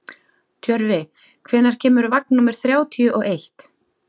Tjörfi, hvenær kemur vagn númer þrjátíu og eitt?